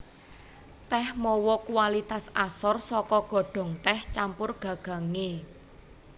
Tèh mawa kualitas asor saka godhong tèh campur gagangé